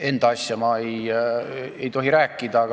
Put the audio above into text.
Enda asjast ma ei tohi rääkida.